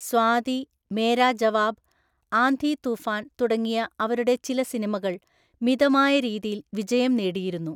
സ്വാതി, മേരാ ജവാബ്, ആന്ധി തൂഫാൻ തുടങ്ങിയ അവരുടെ ചില സിനിമകൾ മിതമായ രീതിയിൽ വിജയം നേടിയിരുന്നു.